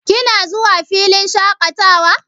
Kina zuwa filin shaƙatawa?